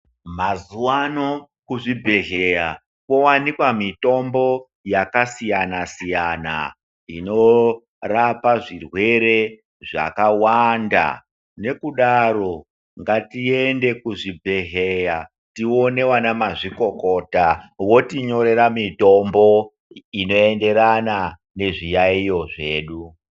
Mazuwano kuzvibhedhleya kowanikwa mitombo yakasiyana siyana inorapa zvirwere zvakawanda. Nekudaro, ngatiende kuzvibhedhleya tione vanamazvikokota votinyorera mitombo inoenderana nezviyayo zvedu.